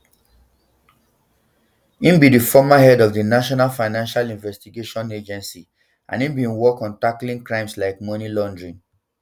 im be di former head of di national financial investigation agency and im bin work on tackling crimes like money laundering